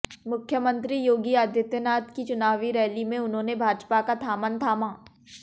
मुख्यमंत्री योगी आदित्यनाथ की चुनावी रैली में उन्होंने भाजपा का थामन थामा